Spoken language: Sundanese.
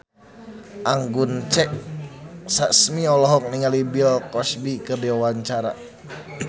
Anggun C. Sasmi olohok ningali Bill Cosby keur diwawancara